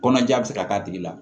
Kɔnɔja be se ka k'a tigi la